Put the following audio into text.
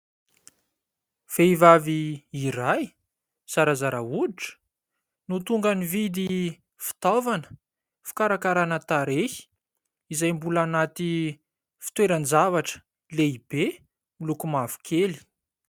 Vehivavy iray zarazara hoditra no tonga nividy fitaovana fikarakarana tarehy izay mbola anaty fitoerany zavatra lehibe miloko mavokely.